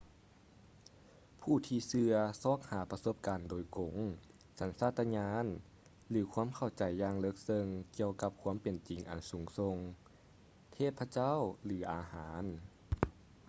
ຜູ້ທີ່ເຊື່ອຊອກຫາປະສົບການໂດຍກົງ ສັນຊາດຕະຍານ ຫຼື ຄວາມເຂົ້າໃຈຢ່າງເລິກເຊິ່ງກ່ຽວກັບຄວາມເປັນຈິງອັນສູງສົ່ງ/ເທບພະເຈົ້າ ຫຼື ອາຫານ